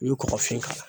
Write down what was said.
I bɛ kɔkɔfin k'a la